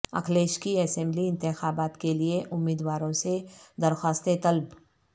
اکھلیش کی اسمبلی انتخابات کیلئے امیدواروں سے درخواستیں طلب